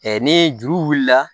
ni juru wulila